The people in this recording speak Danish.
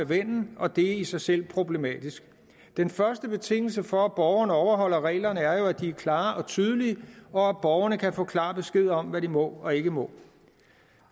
ven og det er i sig selv problematisk den første betingelse for at borgerne overholder reglerne er jo at de er klare og tydelige og at borgerne kan få klar besked om hvad de må og ikke må